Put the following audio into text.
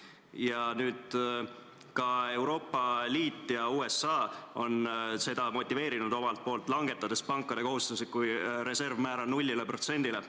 Ja nüüd ka Euroopa Liit ja USA on seda motiveerinud omalt poolt, langetades pankade kohustusliku reservi määra null protsendini.